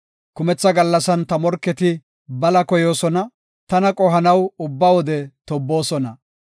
Kumetha gallasan ta morketi bala koyoosona; tana qohanaw ubba wode tobboosona.